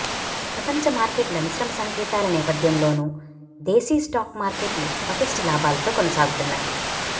ప్రపంచ మార్కెట్ల మిశ్రమ సంకేతాల నేపథ్యంలోనూ దేశీ స్టాక్ మార్కెట్లు పటిష్ట లాభాలతో కొనసాగుతున్నాయి